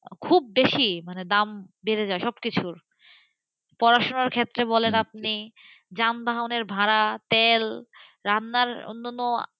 খুব বেশি মানে দাম বেড়ে যায় সবকিছুরপড়াশোনার ক্ষেত্রে বলেন আপনি যানবাহনের ভাড়া, তেল, রান্নার অন্যান্য,